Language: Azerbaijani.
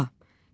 A.